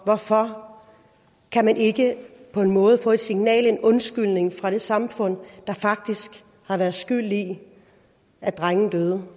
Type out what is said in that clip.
hvorfor kan man ikke få et signal en undskyldning fra det samfund der faktisk har været skyld i at drengen døde